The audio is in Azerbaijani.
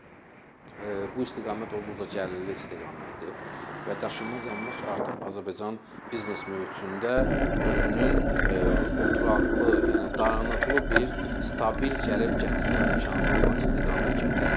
Çünki bu istiqamət olduqca cəlbedici istiqamətdir və daşınmaz əmlak artıq Azərbaycanın biznes mühitində özünün oturaqlı, yəni dayanıqlı bir stabil gəlir gətirmə imkanı olan istiqamət kimi təsdiqləyib.